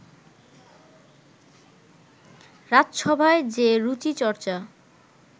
রাজসভায় যে রুচিচর্চা